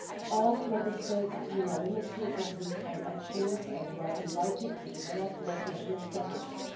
All Member States unanimously agreed on actions and were invited to develop national strategies.